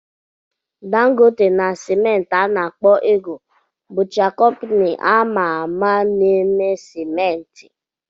Dangote na simenti a na-akpọ "Eagle" bụcha kompini a ma-ama n'eme simenti.